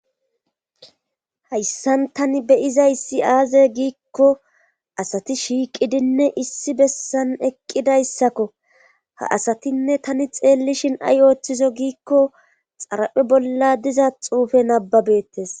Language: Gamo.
Hayssan tani beyizayssi aaze giikko asati shiiqidinne issi bessan eqqidayssakko ha asatinne tani xeellishin ay ooththizo giikko xara7e bolla diza xuufe nababettes